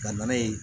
Ka na n'a ye